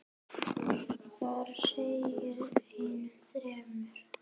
Þar segir enn fremur